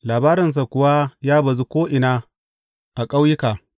Labarinsa kuwa ya bazu ko’ina a ƙauyuka.